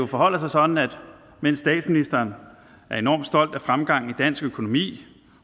forholder sig sådan at mens statsministeren er enormt stolt af fremgangen i dansk økonomi